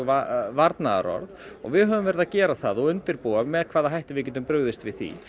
varnaðarorð og við höfum verið að gera það og undirbúa með hvaða hætti við getum brugðist við því